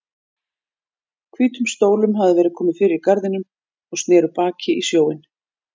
Hvítum stólum hafði verið komið fyrir í garðinum og sneru baki í sjóinn.